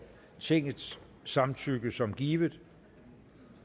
tingets samtykke som givet